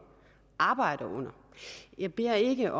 arbejder under jeg beder ikke